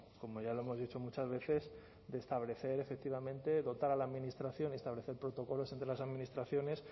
como ya lo hemos dicho muchas veces de establecer efectivamente dotar a la administración y establecer protocolos entre las administraciones